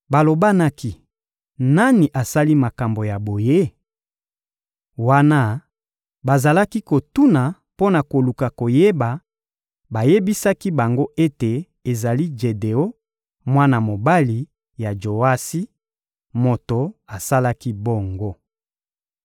Balobanaki: «Nani asali makambo ya boye?» Wana bazalaki kotuna mpo na koluka koyeba, bayebisaki bango ete ezali Jedeon, mwana mobali ya Joasi, moto asalaki bongo.